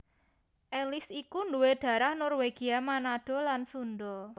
Alice iku nduwé dharah Norwegia Manado lan Sundha